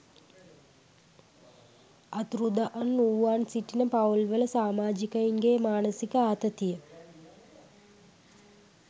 අතුරුදන්වූවන් සිටින පවුල්වල සාමාජිකයින්ගේ මානසික ආතතිය